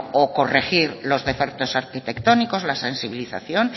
o corregir los defectos arquitectónicos la sensibilización